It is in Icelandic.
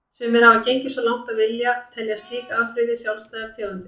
Sumir hafa gengið svo langt að vilja telja slík afbrigði sjálfstæðar tegundir.